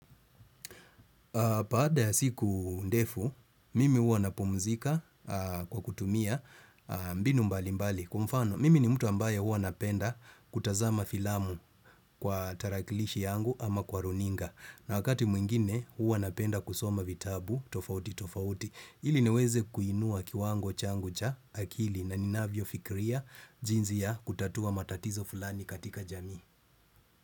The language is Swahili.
Baada ya siku ndefu, mimi huwa napumzika kwa kutumia mbinu mbali mbali. Kwa mfano, mimi ni mtu ambaye huwa napenda kutazama filamu kwa tarakilishi yangu ama kwa runinga. Na wakati mwingine huwa napenda kusoma vitabu tofauti tofauti. Ili niweze kuinua kiwango changu cha akili na ninavyofikiria jinsi ya kutatua matatizo fulani katika jamii.